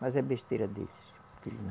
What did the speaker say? Mas é besteira deles.